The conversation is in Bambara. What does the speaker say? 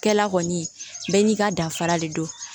Kɛla kɔni bɛɛ n'i ka danfara de don